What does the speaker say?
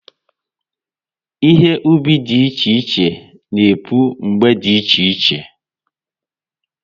Ihe ubi dị iche iche na-epu mgbe dị iche iche